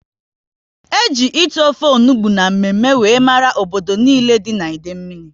E ji ite ofe onugbu na mme mme wéré mara obodo nile dị n'Idemili